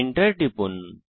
Enter টিপুন